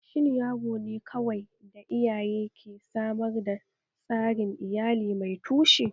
Shin yaro ne kawai da iyaye ke samar da tsarin iyali mai tushe?